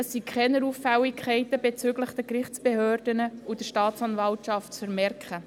Es sind keine Auffälligkeiten bezüglich den Gerichtsbehörden und der Staatsanwaltschaft zu vermerken.